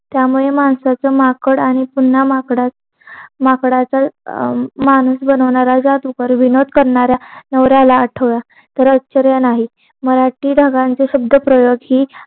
त्यामुळे माणसाचं माकड आणि पुन्हा माकडा माकडाचा माणूस बनवणारा जातो पण विनोद करणारा नवऱ्याला आठवा तरच पर्याय नाही मराठी ढगांची शब्दप्रयोग की